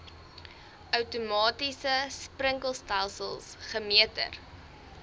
outomatiese sprinkelstelsels gemeter